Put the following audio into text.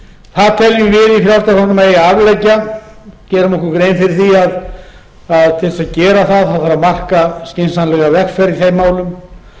það teljum við í frjálslynda flokknum að eigi að afleggja gerum okkur grein fyrir því að til að gera það þarf að marka skynsamlega vegferð í þeim málum